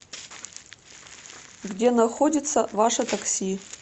где находится ваше такси